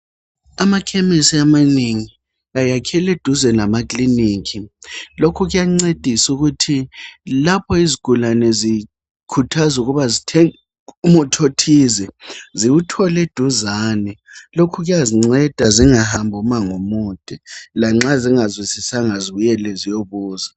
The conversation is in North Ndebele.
Amakhemisi amanengi ayakhelweduze lamakilinika. Lokho kuyancedisa ukuthi lapho izigulane zikhuthazwa ukuba zithenge umuthi othize ziwuthole eduzane .Lokhu kuyazinceda zingahambi umango omude lanxa zingazwisisanga zibuyele ziyobuza.